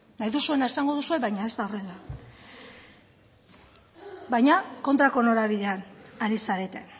nahi duzuena esango duzue baina ez da horrela baina kontrako norabidean ari zarete